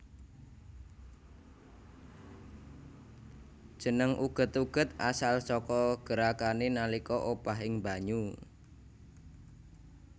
Jeneng uget uget asal saka gerakané nalika obah ing banyu